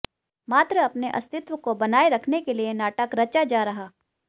मात्र अपने अतिस्त्व को बनाए रखने के लिए नाटक रचा जा रहा